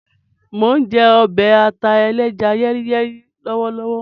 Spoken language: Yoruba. Mo n jẹ ọbẹ aláta-yẹ́ríyẹ́rí ẹlẹ́ja lọwọlọwọ.